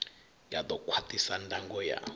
ya ḓo khwaṱhisa ndango ya